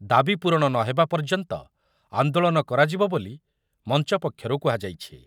ଦାବି ପୂରଣ ନ ହେବା ପର୍ଯ୍ୟନ୍ତ ଆନ୍ଦୋଳନ କରାଯିବ ବୋଲି ମଞ୍ଚ ପକ୍ଷରୁ କୁହାଯାଇଛି ।